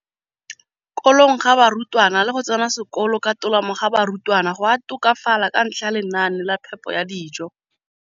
kolong ga barutwana le go tsena sekolo ka tolamo ga barutwana go a tokafala ka ntlha ya lenaane la phepo ya dijo.